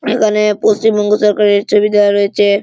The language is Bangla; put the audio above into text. এখনে পশ্চিমবঙ্গ সরকারের ছবি দেওয়া রয়েছে।